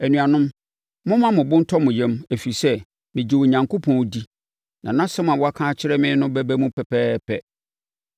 Anuanom, momma mo bo ntɔ mo yam, ɛfiri sɛ, megye Onyankopɔn di na asɛm a waka akyerɛ me no bɛba mu pɛpɛɛpɛ.